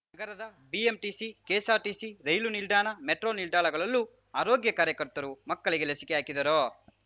ನಗರದ BMTC KSRTC ರೈಲು ನಿಲ್ದಾಣ ಮೆಟ್ರೋ ನಿಲ್ದಾಣಗಳಲ್ಲೂ ಆರೋಗ್ಯ ಕಾರ್ಯಕರ್ತರು ಮಕ್ಕಳಿಗೆ ಲಸಿಕೆ ಹಾಕಿದರು